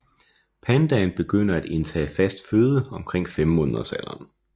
Pandaen begynder at indtage fast føde omkring femmåneders alderen